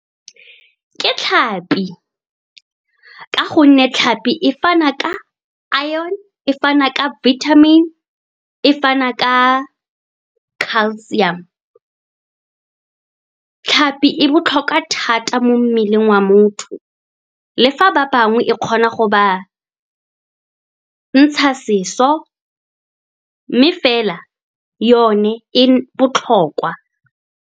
Ke tlhapi, ka gonne tlhapi e fana ka a iron, e fana ka vitamin, e fana ka calcium. Tlhapi e botlhokwa thata mo mmeleng wa motho. Le fa ba bangwe e kgona go ba ntsha seso, mme fela yone e botlhokwa.